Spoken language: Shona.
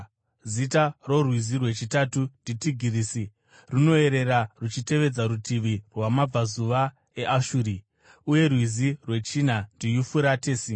Zita rorwizi rwechitatu ndiTigirisi; runoyerera ruchitevedza rutivi rwamabvazuva eAshuri. Uye rwizi rwechina ndiYufuratesi.